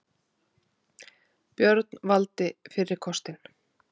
Björn valdi fyrri kostinn.